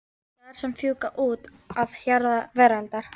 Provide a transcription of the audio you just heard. Dagar sem fjúka út að hjara veraldar.